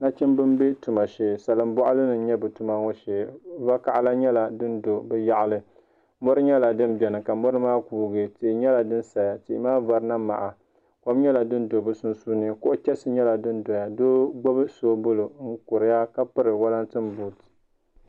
Nachimbi n bɛ tuma shee salin boɣali ni n nyɛ bi tuma ŋo shee vakaɣali nyɛla din do bi yaɣali mori nyɛla din biɛni ka mori maa kuugi tihi nyɛla din saya ka tihi maa vari na maha kom nyɛla din do bi sunsuuni tihi nyɛla din ʒɛya tihi maa vari na maha kom nyɛla din do bi sunsuuni kuɣu chɛsi nyɛla din doya doo gbubi soobuli n kuriya ka piri wolatin buut